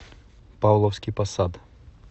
павловский посад